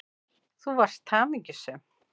Þú varst hamingjusöm.